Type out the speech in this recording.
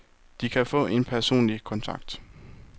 De kan få en personlig kontakt.